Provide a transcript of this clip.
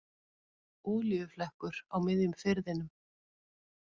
Olíuflekkur á miðjum firðinum